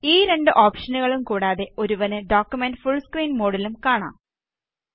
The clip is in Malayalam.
ഈ രണ്ട് ഓപ്ഷനുകളും കൂടാതെ ഒരുവന് ഡോക്കുമെന്റ് ഫുള് സ്ക്രീന് മോഡിലും കാണാം